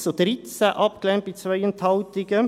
mit 1 zu 13 abgelehnt, bei 2 Enthaltungen.